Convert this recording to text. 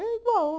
É igual.